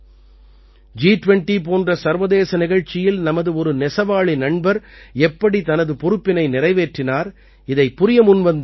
ஜி20 போன்ற சர்வதேச நிகழ்ச்சியில் நமது ஒரு நெசவாளி நண்பர் எப்படி தனது பொறுப்பினை நிறைவேற்றினார் இதைப் புரிய முன்வந்தார்